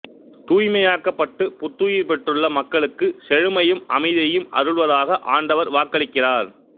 தூய்மையாக்கப்பட்டுப் புத்துயிர் பெற்றுள்ள மக்களுக்குச் செழுமையையும் அமைதியையும் அருள்வதாக ஆண்டவர் வாக்களிக்கிறார்